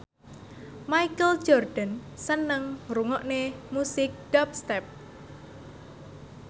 Michael Jordan seneng ngrungokne musik dubstep